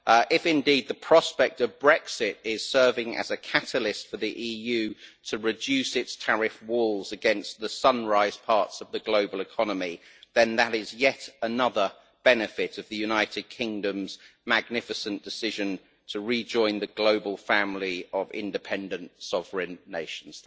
If, indeed, the prospect of Brexit is serving as a catalyst for the EU to reduce its tariff walls against the sunrise' parts of the global economy, then that is yet another benefit of the United Kingdom's magnificent decision to rejoin the global family of independent sovereign nations.